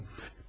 Bilmiyorum.